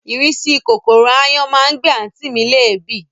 Ìrísí kòkòrò ááyán má ń gbé àǹtí mi léèébì